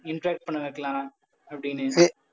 interact பண்ண வைக்கலாம் அப்படின்னு.